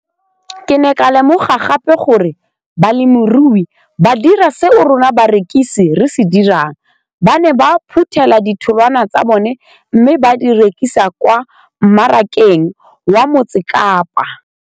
Ke ne ka lemoga gape gore balemirui ba dira seo rona barekisi re se dirang - ba ne ba phuthela ditholwana tsa bona mme ba di rekisa kwa marakeng wa Motsekapa.